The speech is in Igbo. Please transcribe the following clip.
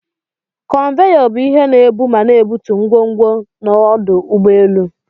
Konveyor bu ihe ebu ma n'ebutu ngwongwo n'ọfụ ụgbọ elu.